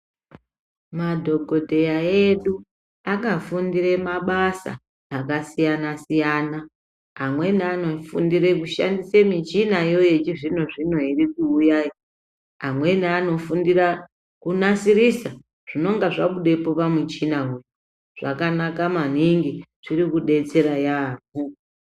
Madhokodheya edu akafundire mabasa akasiyana siyana amweni anofundira kushandise michinayo yechizvino zvino irikuuyayo amweni anofundira kunasirisa zvinonga zvabudepo pamishinawo zvakanaka maningi zviri kudetsera yaambo.